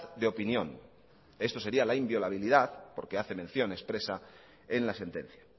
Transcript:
de opinión esto sería la inviolabilidad porque hace mención expresa en la sentencia